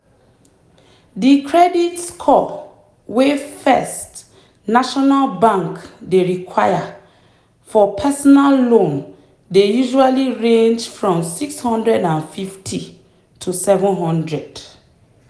the credit score wey first national bank dey require for personal loan dey usually range from 650 to 700.